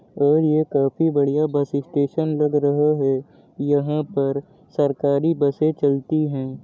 और यह एक काफी बढ़िया बस स्टेशन लग रहा है। यहाँ पर सरकारी बसें चलती हैं।